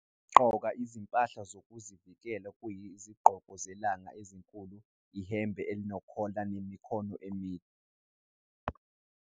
Gqoka izimpahla zokuzivikela okuyizigqoko zelanga ezinkulu, ihembe enokhola nemikhono emide.